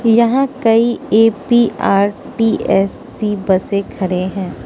यहां कई ए_पी_आर_टी_एस_सी बसे खड़े हैं।